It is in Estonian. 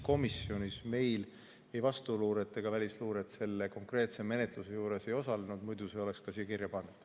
Komisjonis meil ei vastuluure ega välisluure selle konkreetse menetluse juures ei osalenud, muidu oleks see ka siia kirja pandud.